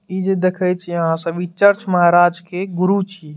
इ जे देखे छीये अहां सब महराज के गुरु छीये।